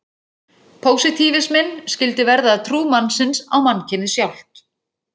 Pósitífisminn skyldi verða að trú mannsins á mannkynið sjálft.